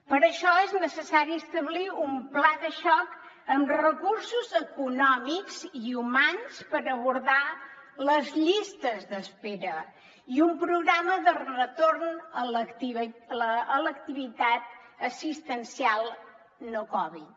per això és necessari establir un pla de xoc amb recursos econòmics i humans per abordar les llistes d’espera i un programa de retorn a l’activitat assistencial no covid